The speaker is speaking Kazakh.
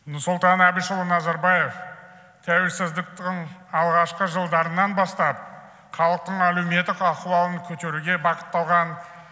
нұрсұлтан әбішұлы назарбаев тәуелсіздіктің алғашқы жылдарынан бастап халықтың әлеуметтік ахуалын көтеруге бағытталған